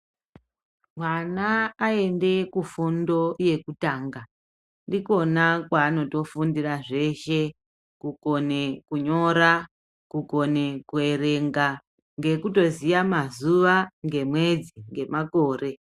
Mwana aende kufundo yekutanga, ndikona kwaanotofundira zveshe, kukone kunyora, kukona kuerenga ngekutoziya mazuwa, ngemwedzi ngemakore.